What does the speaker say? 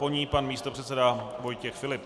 Po ní pan místopředseda Vojtěch Filip.